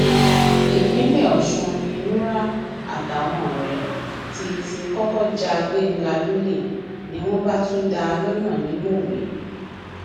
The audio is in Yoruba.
ìpínlẹ ọsùn ní nura àtàwọn ọrẹ ti ti kọkọ ja gbẹngà lólè ni wọn bá tún dá a lọnà ní mọwé